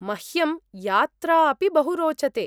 मह्यं यात्रा अपि बहु रोचते।